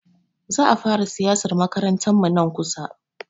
Za a fara siyasar makarantarmu nan kusa.